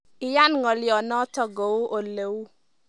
Iyaan ng'olionotok kou ole uu.